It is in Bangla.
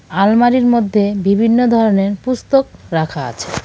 আলমারির মধ্যে বিভিন্ন ধরনের পুস্তক রাখা আছে.